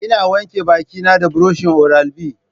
Ina wanke baki na da buroshin oral B